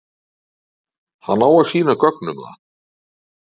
Hann á að sýna gögn um það.